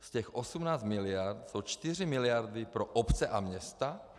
Z těch 18 miliard jsou 4 miliardy pro obce a města.